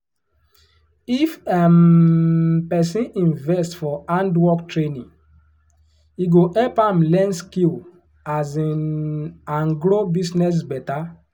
if um person invest for handwork training e go help am learn skill um and grow business better.